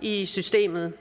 i systemet